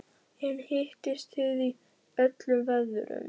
En hittist þið í öllum veðrum?